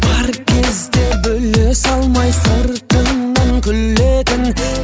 бар кезде бөле салмай сыртыңнан күлетін